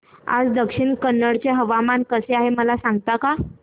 आज दक्षिण कन्नड चे हवामान कसे आहे मला सांगता का